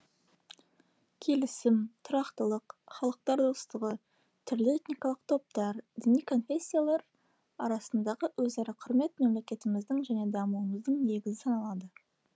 келісім тұрақтылық халықтар достығы түрлі этникалық топтар діни конфессиялар арасындағы өзара құрмет мемлекетіміздің және дамуымыздың негізі саналады